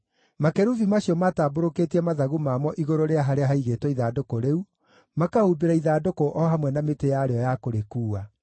Makerubi macio maatambũrũkĩtie mathagu mamo igũrũ rĩa harĩa haigĩtwo ithandũkũ rĩu, makahumbĩra ithandũkũ o hamwe na mĩtĩ yarĩo ya kũrĩkuua.